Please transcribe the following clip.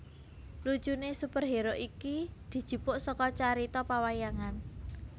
Lucune superhero iki dijupuk saka carita pawayangan